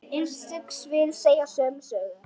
Einstök svið segja sömu sögu.